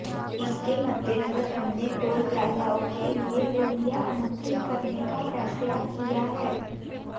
इसके मद्देनजर हमने टोल प्लाजाओं के लिए बोलियां आमंत्रित करने का फैसला किया है